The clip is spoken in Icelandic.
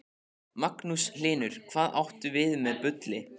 Magnús Hlynur: Hvað áttu við með bulli?